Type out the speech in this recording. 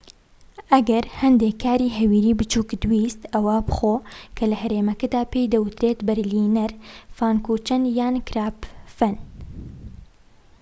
ئەگەر هەندێك کاری هەویریی بچوکت ویست ئەوە بخۆ کە لەهەرێمەکەدا پێی دەوترێت بەرلینەر فانکوچەن یان کراپفەن